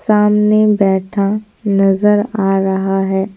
सामने बैठा नज़र आ रहा है।